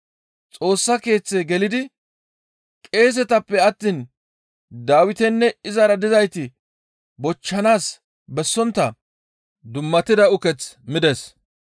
Xoossa Keeththe gelidi qeesetappe attiin Dawitinne izara dizayti bochchanaas bessontta dummatida uketh mides.